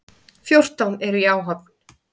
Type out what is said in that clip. Fjórtán eru í áhöfn.